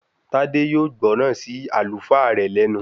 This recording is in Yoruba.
Tádé yóò gbọ́ràn sí Àlùfáà rẹ̀ lẹ́nu